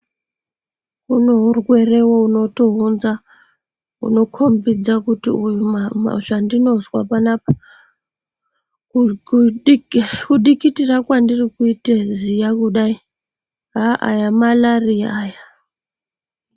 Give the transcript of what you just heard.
Kune urwere unotounza unokhombidza kuti zvandinozwa panapa kudikitira kwandirikuite ziya kudai haa aya malariya aya.